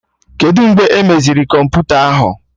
Kedụ mgbe emeziri kọmputa ahụ?